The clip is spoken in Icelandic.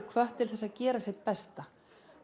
hvattir til að gera sitt besta